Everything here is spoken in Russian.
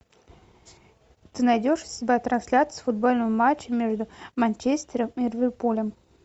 ты найдешь у себя трансляцию футбольного матча между манчестером и ливерпулем